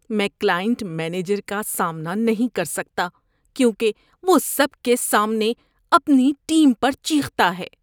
میں client manager کا سامنا نہیں کر سکتا کیونکہ وہ سب کے سامنے اپنی ٹیم پر چیختا ہے۔